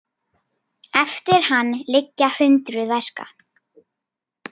Eftir hann liggja hundruð verka.